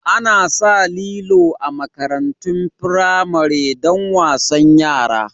Ana sa lilo a makarantun firamari don wasan yara